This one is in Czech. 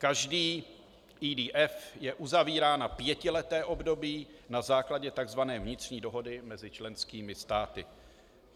Každý EDF je uzavírán na pětileté období na základě takzvané vnitřní dohody mezi členskými státy.